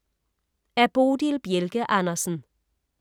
Af Bodil Bjelke Andersen